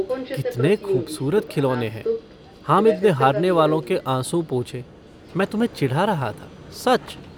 कितने खूबसूरत खिलौने हैं। हामिद ने हारने वालों के आँसू पोंछे - मैं तुम्हें चिढ़ा रहा था, सच।